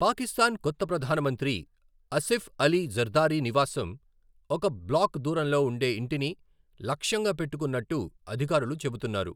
పాకిస్థాన్ కొత్త ప్రధానమంత్రి అసిఫ్ అలీ జర్దారీ నివాసం, ఒక బ్లాక్ దూరంలో ఉండే ఇంటిని, లక్ష్యంగా పెట్టుకున్నట్లు అధికారులు చెబుతున్నారు.